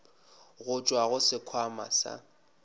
go tšwa go sekhwama sa